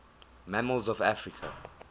mammals of africa